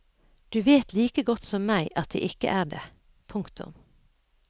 Du vet like godt som meg at det ikke er det. punktum